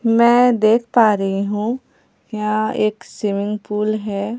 मैं देख पा रही हूं यहां एक स्विमिंग पूल है।